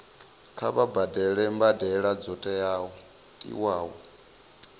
kha vha badele mbadelo dzo tiwaho